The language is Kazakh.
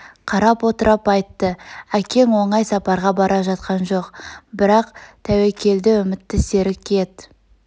қарап отырып айтты әкең оңай сапарға бара жатқан жоқ бірақ тәуекелді үмітті серік ет